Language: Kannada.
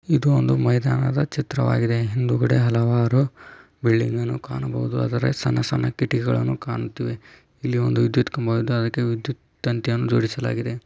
ಇದು ಒಂದು ಮೈದಾನದ ಚಿತ್ರವಾಗಿದೆ ಹಿಂದೆಗದೆ ಹಲವಾರು ಬಿಲ್ಡಿಂಗ್ ಗಳು ಕಾಣಬಹುದು ಆದರೆ ಸಣ್ಣ ಸಣ್ಣ ಕಿಟಕಿಗಳನ್ನು ಕಾಣುತ್ತೀವಿ ಇಲ್ಲಿ ಒಂದು ವಿದ್ಯುತ್ ಕಂಬ ಆಯ್ತೆ ಅದಕ್ಕೆ ವಿದ್ಯುತ್ ತಂತಿ ಅನ್ನು ಇಡಿಸಲಾದೆ.